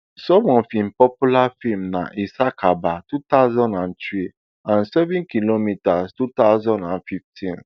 some of im popular feems na isakaba two thousand and three and seven kilometre two thousand and fifteen